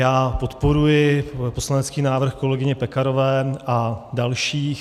Já podporuji poslanecký návrh kolegyně Pekarové a dalších.